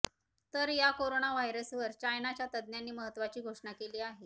तर या कोरोना व्हायरसवर चायनाच्या तज्ज्ञांनी महत्त्वाची घोषणा केली आहे